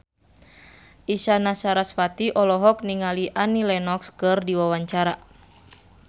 Isyana Sarasvati olohok ningali Annie Lenox keur diwawancara